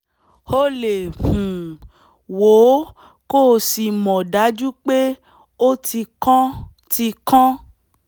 o lè um wò ó kó o sì mọ̀ dájú pé ó ti kán ti kán